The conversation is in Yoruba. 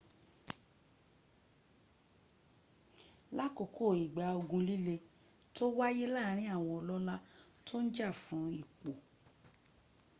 lákòókò ìgbà ogun líle tó wáyé láàrin àwọn ọlọ́lá tó ń jà fún ipò